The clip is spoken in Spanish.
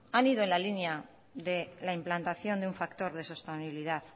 han ido en la línea de la implantación de un factor de sostenibilidad